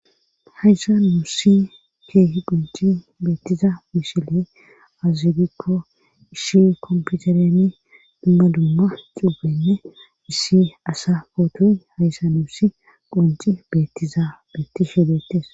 hayssa nuussi keehi qonci beettiza mishile azie gikko ishi komputereni dumma dumma cuubenne issi asa pootoy hayssa nuussi qonci beettiza beettishe deettes